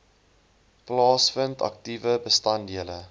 plaasvind aktiewe bestanddele